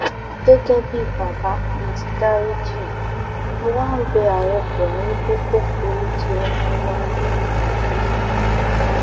gẹ́gẹ́ bíi bàbá mo ti dariji í mo wá ń bẹ ààrẹ buhari pé kó foríjì ọmọ wa ológo yìí